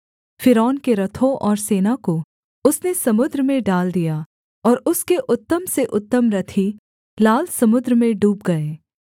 फ़िरौन के रथों और सेना को उसने समुद्र में डाल दिया और उसके उत्तम से उत्तम रथी लाल समुद्र में डूब गए